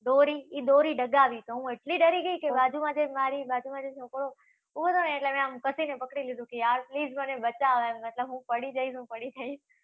દોરી, ઈ દોરી ડગાવી તો હું એટલી ડરી ગઈ કે બાજુમાં જે મારી, બાજુમાંં જે છોકરો ઊભો તો ને, એટલે મે આમ કસીને પકડી લીધી હતી. યાર, please મને બચાવો નહિતર હું પડી જઈશ. હું પડી જઈશ